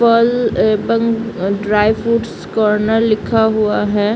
फल एवं dry fruits corner लिखा हुआ है।